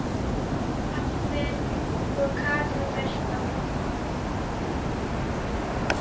Mamma, pabbi og Katrín Birta.